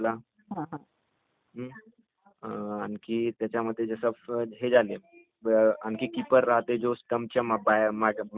अं....आणखी त्याच्यामध्ये जसे......हे झाले.....आणखी कीपर राहते झाले जे स्टम्पच्या पायामध्ये.....मागे उभे राहातो